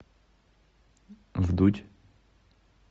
вдудь